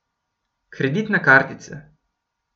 Kreditna kartica.